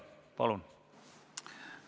Palun!